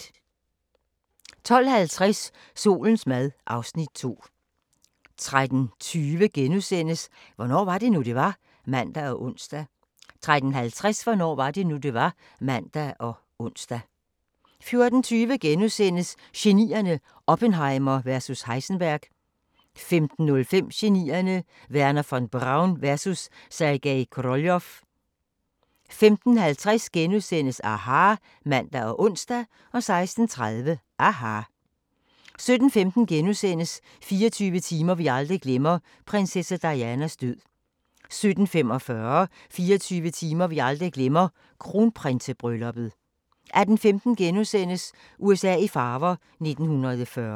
12:50: Solens mad (Afs. 2) 13:20: Hvornår var det nu, det var? *(man og ons) 13:50: Hvornår var det nu, det var? (man og ons) 14:20: Genierne: Oppenheimer vs Heisenberg * 15:05: Genierne: Wernher von Braun vs. Sergej Koroljov 15:50: aHA! *(man og ons) 16:30: aHA! 17:15: 24 timer vi aldrig glemmer – prinsesse Dianas død * 17:45: 24 timer vi aldrig glemmer – Kronprinsebrylluppet 18:15: USA i farver – 1940'erne *